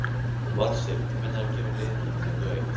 Valsteinn, hvenær kemur leið númer tuttugu og eitt?